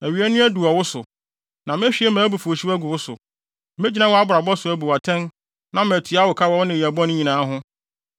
Awiei no adu wɔ wo so, na mehwie mʼabufuwhyew agu wo so. Megyina wʼabrabɔ so abu wo atɛn na matua wo ka wɔ wo nneyɛe bɔne nyinaa ho.